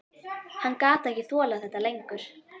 Hann gat ekki þolað þetta lengur.